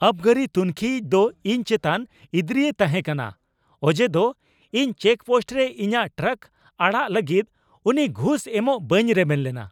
ᱟᱹᱵᱜᱟᱹᱨᱤ ᱛᱩᱱᱠᱷᱤᱭᱤᱡ ᱫᱚ ᱤᱧ ᱪᱮᱛᱟᱱ ᱤᱫᱨᱤᱭ ᱛᱟᱦᱮᱸ ᱠᱟᱱᱟ, ᱚᱡᱮᱫᱚ ᱤᱧ ᱪᱮᱠᱯᱳᱥᱴ ᱨᱮ ᱤᱧᱟᱜ ᱴᱨᱟᱠ ᱟᱲᱟᱜ ᱞᱟᱹᱜᱤᱫ ᱩᱱᱤ ᱜᱷᱩᱥ ᱮᱢᱚᱜ ᱵᱟᱹᱧ ᱨᱮᱵᱮᱱ ᱞᱮᱱᱟ ᱾